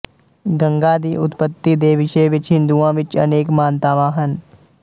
ਗੰਗਾ ਦੀ ਉਤਪਤੀ ਦੇ ਵਿਸ਼ੇ ਵਿੱਚ ਹਿੰਦੁਆਂ ਵਿੱਚ ਅਨੇਕ ਮਾਨਤਾਵਾਂ ਹਨ